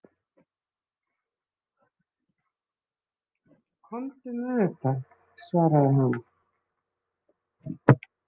Komdu með þetta, svaraði hann.